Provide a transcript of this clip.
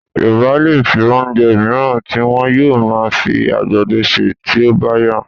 Yorù̀bá lè rí oúnjẹ mìíràn tí wọn yóò máa fi àgbàdo ṣe tí ó bá yá